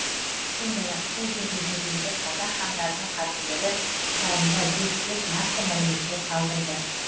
сондай ақ сол жерде жерленген қазақ хандарының қабірлері жайында зерттеп нақты мәліметтер қалдырды